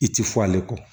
I ti fɔ ale kɔ